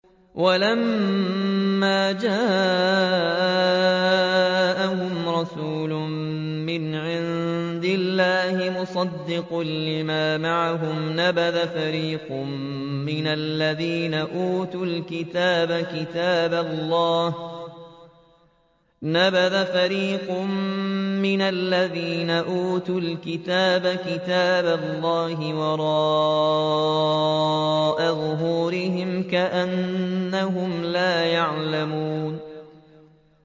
وَلَمَّا جَاءَهُمْ رَسُولٌ مِّنْ عِندِ اللَّهِ مُصَدِّقٌ لِّمَا مَعَهُمْ نَبَذَ فَرِيقٌ مِّنَ الَّذِينَ أُوتُوا الْكِتَابَ كِتَابَ اللَّهِ وَرَاءَ ظُهُورِهِمْ كَأَنَّهُمْ لَا يَعْلَمُونَ